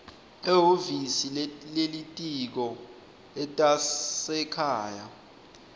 ehhovisi lelitiko letasekhaya